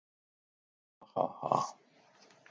Ha, ha, ha.